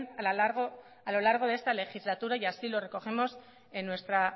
a lo largo de esta legislatura y así lo recogemos en nuestra